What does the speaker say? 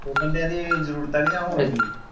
ਕਿਸੇ ਬੰਦਿਆਂ ਦੀ ਜਰੂਰਤਾਂ .